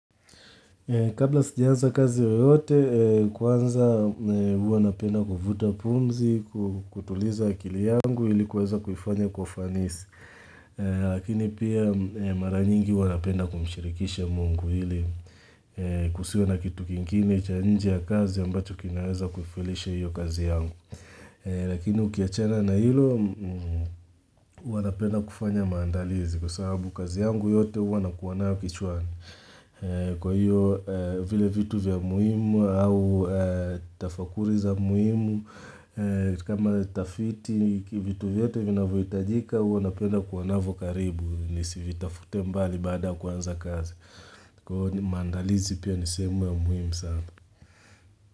Kabla sijaanza kazi yoyote, kwanza huwa napenda kuvuta pumzi, kutuliza akili yangu ilikuweza kuifanya kwa ufanisi. Lakini pia mara nyingi huwa napenda kumshirikisha mungu ili kusiwe na kitu kingine cha nje ya kazi ambacho kinaweza kufelisha hiyo kazi yangu. Lakini ukiachana na hilo, huwa napenda kufanya maandalizi kwa sababu kazi yangu yote huwa nakuwa nayo kichwani. Kwa hiyo vile vitu vya muhimu au tafakuri za muhimu kama tafiti vitu vyote vinavyohitajika huwa napenda kuwa navyo karibu Nisivitafute mbali baada kuanza kazi Kwa hiyo mandalizi pia ni sehemu ya muhimu sana.